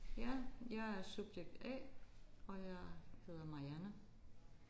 Ja jeg er subjekt A og jeg hedder Marianne